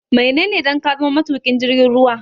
Menene dan ka zama mai tuƙin jirgin ruwa?